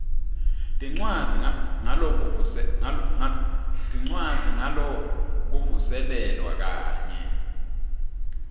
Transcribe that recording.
tincwadzi ngalokuvuselelwa kanye